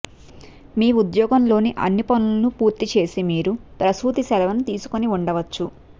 మీ ఉద్యోగంలోని అన్ని పనులను పూర్తి చేసి మీరు ప్రసూతి సెలవును తీసుకొని ఉండవచ్చు